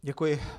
Děkuji.